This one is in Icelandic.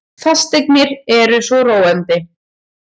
Fasteignir eru svo róandi.